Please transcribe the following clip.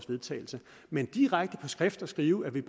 vedtagelse men direkte at skrive at vi